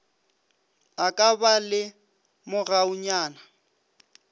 a ka ba le mogaunyana